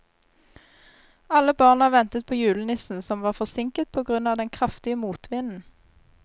Alle barna ventet på julenissen, som var forsinket på grunn av den kraftige motvinden.